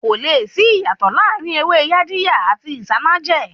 Kò le sí ìyàtò láàrin ewé Yaadiya àti Isanaje